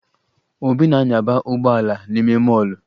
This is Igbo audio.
Obi na-anyaba ụgbọala n'ime mọọlụ